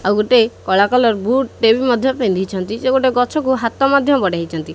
ଆଉଗୋଟେ କଳା colour boot ଟେ ବି ମଧ୍ୟ ପିନ୍ଧିଛନ୍ତି ସେ ଗୋଟେ ଗଛକୁ ହାତ ମଧ୍ୟ ବଢ଼େଇଚନ୍ତି।